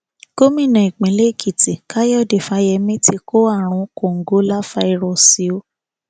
gómìnà ìpínlẹ èkìtì káyọdé fáyemí ti kó àrùn kòǹgóláfàírọọsì o